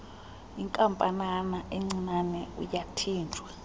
inkampanana encinane uyathinjwa